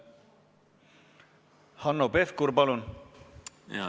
Hanno Pevkur, palun!